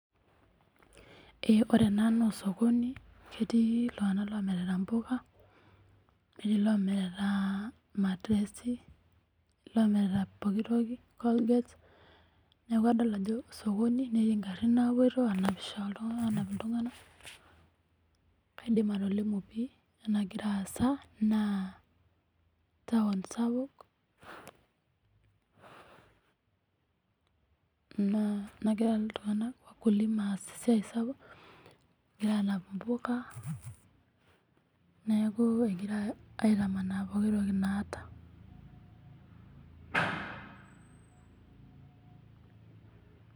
Eee ore ena naa osokoni, ketii iltung'ana oomirita impoka netii loomirita, irmatirsi netii loomirita pookitoki cs[Colgate]cs neeku adol ajo osokoni neeti ingarrin naapoito aanapisho aanap iltung'ana aidim atolimu pii ajo kanyio nagira aasa naa, tawon sapuk naa nagira iltung'ana cs[wakulima]cs aas esiai sapuk egira aanap impoka, neeku, egira aitamaana pooki toki naata.